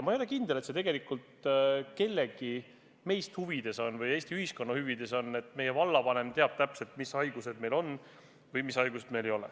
Ma ei ole kindel, et see meist kellegi või Eesti ühiskonna huvides on, et meie vallavanem teab täpselt, mis haigused meil on või mis haigusi meil ei ole.